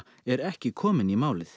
er ekki komin í málið